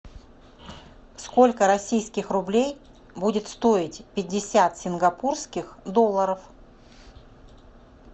сколько российских рублей будет стоить пятьдесят сингапурских долларов